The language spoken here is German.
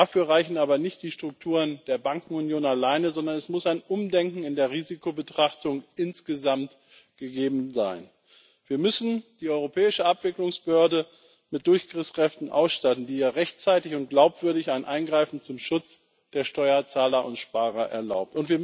Dafür reichen aber nicht die Strukturen der Bankenunion alleine, sondern es muss ein Umdenken in der Risikobetrachtung insgesamt gegeben sein. Wir müssen die europäische Abwicklungsbehörde mit Durchgriffskräften ausstatten, die hier rechtzeitig unglaubwürdig ein Eingreifen zum Schutz der Steuerzahler und Sparer erlaubt.